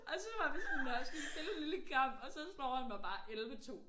Og så var vi sådan nåh skal vi spille en lille kamp og så slår han mig bare 11 2